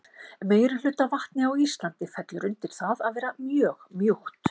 Meirihluti af vatni á Íslandi fellur undir það að vera mjög mjúkt.